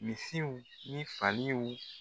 Misiw ni faliw